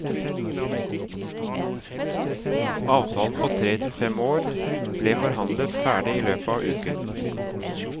Avtalen på tre til fem år ble forhandlet ferdig i løpet av uken.